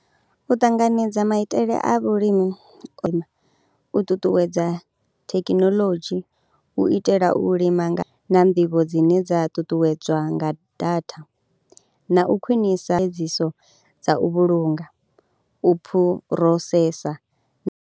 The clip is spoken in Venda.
U ṱanganedza maitele a vhulimi, u ṱuṱuwedza thekinoḽodzhi hu u itela u lima nga na nḓivho dzine dza ṱuṱuwedzwa nga data na u khwinisa dza u vhulunga u phurosesa.